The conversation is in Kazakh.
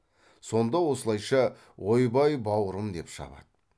сонда осылайша ойбай бауырым деп шабады